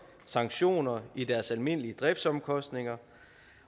sanktioner i deres almindelige driftsomkostninger